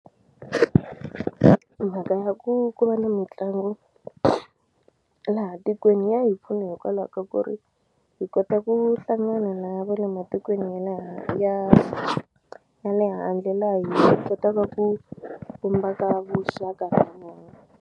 Mhaka ya ku ku va na mitlangu laha tikweni ya hi pfuna hikwalaho ka ku ri hi kota ku hlangana na va le matikweni ya ya ya le handle laha hi kotaka ku vumbaka vuxaka na vona.